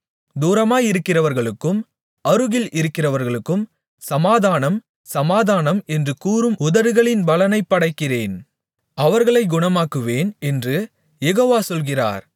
தூரமாயிருக்கிறவர்களுக்கும் அருகில் இருக்கிறவர்களுக்கும் சமாதானம் சமாதானம் என்று கூறும் உதடுகளின் பலனை படைக்கிறேன் அவர்களைக் குணமாக்குவேன் என்று யெகோவா சொல்கிறார்